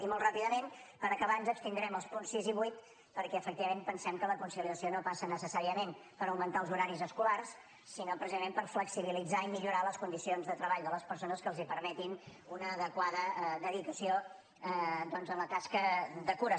i molt ràpidament per acabar ens abstindrem als punts sis i vuit perquè efectivament pensem que la conciliació no passa necessàriament per augmentar els horaris escolars sinó precisament per flexibilitzar i millorar les condicions de treball de les persones que els permetin una adequada dedicació a la tasca de cures